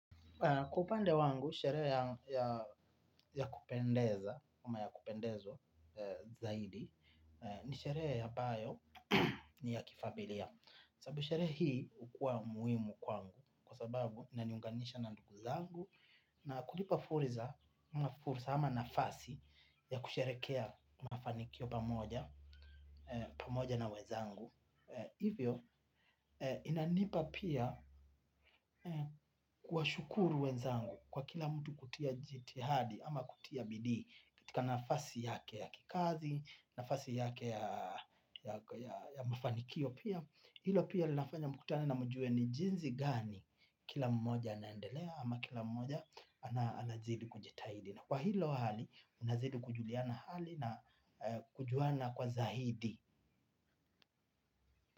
Kwa upande wangu, sherehe ya kupendeza, ama yakupendeza zaidi, ni sherehe ambayo ni ya kifamilia. Sababu sherehe hii hukuwa muhimu kwangu, kwa sababu inaniunganisha na ndugu zangu, na kunipa fursa, ama nafasi ya kusherehekea mafanikio pamoja, pamoja na wenzangu. Hivyo inanipa pia kuwashukuru wenzangu kwa kila mtu kutia jitihada ama kutia bidii katika nafasi yake ya kikazi, nafasi yake ya mafanikio pia hilo pia linafanya mkutane na mjue ni jinsi gani kila mmoja anaendelea ama kila mmoja anazidi kujitahidi kwa hiyo hali unazidi kujuliana hali na kujuana kwa zaidi.